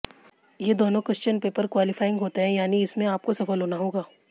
ये दोनों question paper qualifying होते हैं यानी इसमें आपको सफल होना होगा